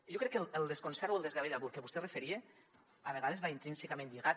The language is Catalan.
jo crec que el desconcert o el desgavell al que vostè es referia a vegades va intrínsecament lligat